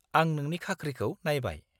-आं नोंनि खाख्रिखौ नायबाय।